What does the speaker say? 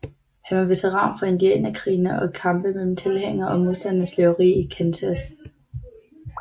Han var veteran fra indianerkrigene og kampe mellem tilhængere og modstandere af slaveri i Kansas